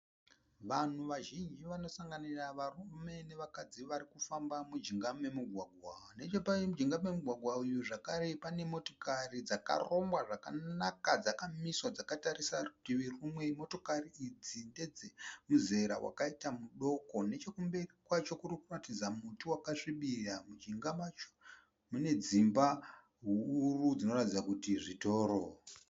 Vanhu vazhinji vanosanganira varume navakadzi vari kufamba mujinga momugwagwa. Nechepajinga pomugwagwa uyu zvakare pane motokari dzakarongwa zvakanaka dzakamiswa dzakatarisa rutivi rumwe. Motokari idzi ndedzemuzera wakaita mudoko. Nechokumberi kwacho kuri kuratidza muti wakasvibira. Nechemujinga macho mune dzimba huru dzinoratidza kuti zvitoro.